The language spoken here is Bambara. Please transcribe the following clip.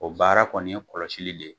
O baara kɔni ye kɔlɔsili le ye.